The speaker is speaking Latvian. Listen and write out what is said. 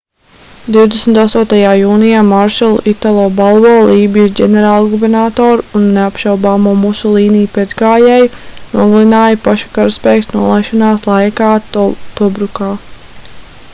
28. jūnijā maršalu italo balbo lībijas ģenerālgubernatoru un neapšaubāmo musolīni pēcgājēju nogalināja paša karaspēks nolaišanās laikā tobrukā